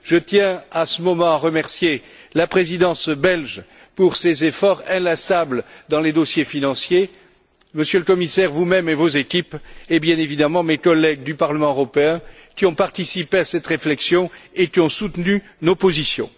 Je tiens, en ce moment, à remercier la Présidence belge pour ses efforts inlassables dans les dossiers financiers, Monsieur le Commissaire, vous même et vos équipes et, bien évidemment, mes collègues du Parlement européen qui ont participé à cette réflexion et qui ont soutenu nos positions.